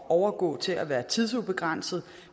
overgå til at være tidsubegrænset